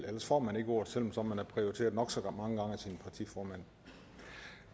ellers får man ikke ordet selv om man er prioriteret nok så meget som partiformand